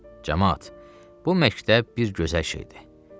Camaat, bu məktəb bir gözəl şeydi.